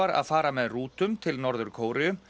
að fara með rútum til Norður Kóreu